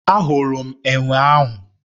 Ahụrụ m enwe ahụ